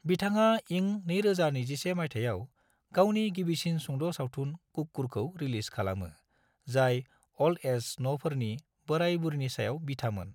बिथाङा इं 2021 माइथायाव गावनि गिबिसिन सुंद' सावथुन कुक्कुरखौ रिलीज खालामो, जाय अल्ड-एज न'फोरनि बोराय-बुरिनि सायाव बिथामोन।